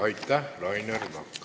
Aitäh, Rainer Vakra!